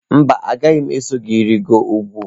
Mba, agaghị m eso gị rịgoro ugwu.